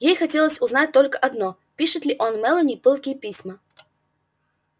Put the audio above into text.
ей хотелось узнать только одно пишет ли он мелани пылкие письма